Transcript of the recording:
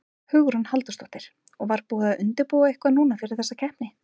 Hugrún Halldórsdóttir: Og var búið að undirbúa eitthvað núna fyrir þessa keppni?